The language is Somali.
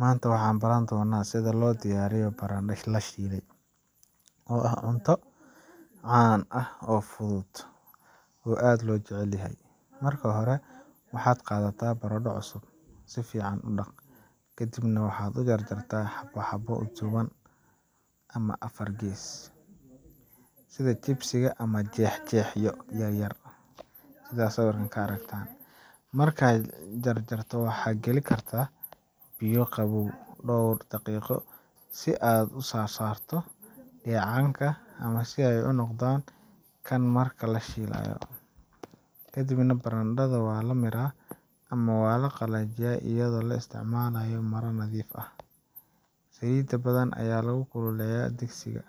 Maanta waxaan baran doonnaa sida loo diyaariyo barandhe la shiilay, oo ah cunto caan ah oo fudud oo aad loo jecel yahay. Marka hore, waxaad qaadataa barandho cusub, si fiican u dhaq, kadibna waxaad u jarjartaa xabbo xabbo dhuuban ama afar gees leh sida chips ama jeex jeexyo yaryar. Marka la jarjaro, waxaad geli kartaa biyo qabow dhowr daqiiqo si aad uga saarto dheecaanka ama si ay u noqdaan kakan marka la shiilayo. Kadib, barandhada waa la miiraa ama la qalajiyaa iyadoo la isticmaalayo maro nadiif ah. Saliid badan ayaa lagu kululeeyaa digsiga,